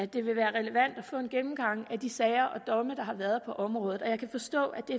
det vil være relevant at få en gennemgang af de sager og domme der har været på området og jeg kan forstå at det